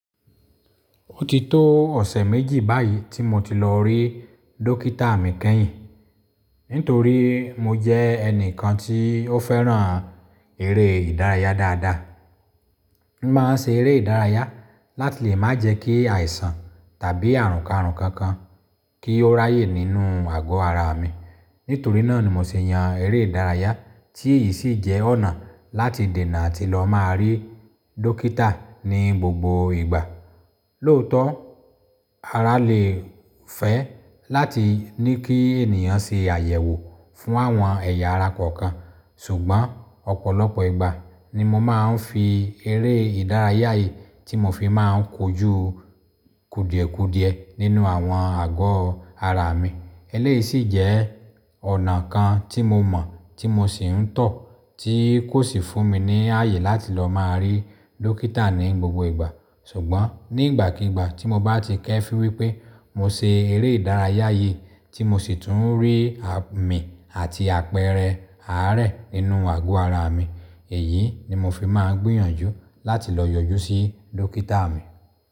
Ó ti tó ọ̀sẹ̀ méjì báyìí tí mo ti lọ rí dókítà mi kẹ́yìn. Nítorí mo jẹ́ ẹnìkan tí ó fẹ́ràn eré ìdárayá dáadáa. Mo máa ń ṣe eré ìdárayá láti lè má jẹ kí àìsàn tàbí àrùn karùn kan kan kí ó ráyè nínú àgọ́ ara mi. Nítorí náà ni mo ṣe yan eré ìdárayá tí èyí sì jẹ́ ọ̀nà láti dènà àti lọ máa rí dókítà ní gbogbo ìgbà. Lóòótọ́, ara lè fẹ́ láti ní kí ènìyàn ṣe àyẹ̀wò fún àwọn ẹ̀yà ara kọ̀ọ̀kan. Ṣùgbọ́n ọ̀pọ̀lọpọ̀ ìgbà ni mo máa ń fi eré ìdárayá yìí tí mo fi máa ń kojú kùdìẹ̀kudiẹ nínú àwọn àgọ́ ara mi. Eléyìí sì jẹ́ ọ̀nà kan tí mo mọ̀ tí mo sì ń tọ̀ tí kò sì fún mi ní ààyè láti lọ máa rí dókítà ní gbogbo ìgbà. Ṣùgbọ́n nígbàkigbà tí mo bá ti kẹ́fín wípé mo ṣe eré ìdárayá yìí tí mo sì tún rí àmì àti àpẹẹrẹ àárẹ̀ nínú àgọ́ ara mi, èyí ni mo fi máa ń gbìyànjú láti lọ yọjú sí dókítà mi.